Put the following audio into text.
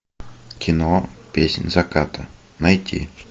кино песнь заката найти